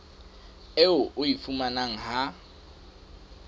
eo o e fumanang ha